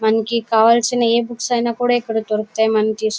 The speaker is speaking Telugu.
మనకి కావాల్సిన ఏ బుక్స్ అయిన కూడా ఇక్కడ దొరుకుతాయి. మనకీ--